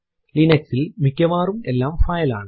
Linux ൽ മിക്കവാറും എല്ലാം ഫയൽ ആണ്